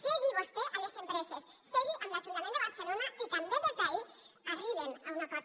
segui vostè a les empreses segui amb l’ajuntament de barcelona i també des d’ahí arriben a un acord